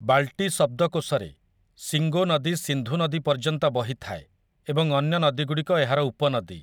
ବାଲ୍ଟି ଶବ୍ଦକୋଷରେ, ଶିଙ୍ଗୋ ନଦୀ ସିନ୍ଧୁ ନଦୀ ପର୍ଯ୍ୟନ୍ତ ବହିଥାଏ ଏବଂ ଅନ୍ୟ ନଦୀଗୁଡ଼ିକ ଏହାର ଉପନଦୀ ।